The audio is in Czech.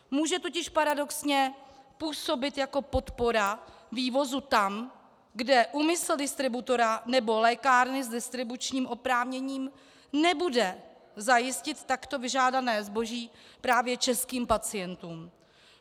Může totiž paradoxně působit jako podpora vývozu tam, kde úmysl distributora nebo lékárny s distribučním oprávněním nebude zajistit takto vyžádané zboží právě českým pacientům.